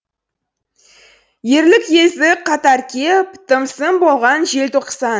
ерлік ездік қатар кеп тым сын болған желтоқсан